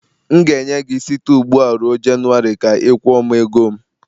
M ga-enye gị site ugbu a ruo January ka ị kwụọ m ego m.